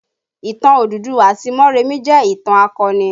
Ìtàn Odùduwà àti Moremi jẹ ìtàn akọni